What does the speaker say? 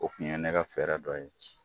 O tun ye ne ka fɛrɛ dɔ ye